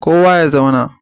Kowa ya zauna!